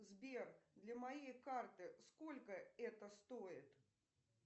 сбер для моей карты сколько это стоит